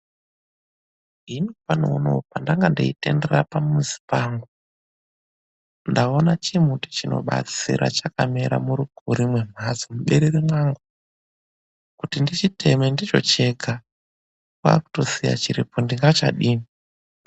PANDANGA NDEITENDERERA PAMUZI PANGU NDAONA CHIMUTI CHINOBATSIRA CHACHAKAMERA MURUKURI MEMHATSO MUBERERE MWANGU. KUTI NDICHITEME NDOCHEGA, KWAKUSIYA CHIRIPO NDINGACHADINI.